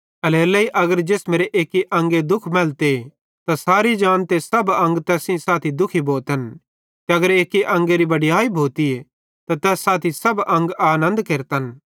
एल्हेरेलेइ अगर जिसमेरे एक्की अंगे दुःख मैलते त सारी जान ते सब अंग तैस सेइं साथी दुखी भोतन ते अगर एक्की अंगेरी बड़याई भोतीए त तैस साथी सब अंग आनन्द केरतन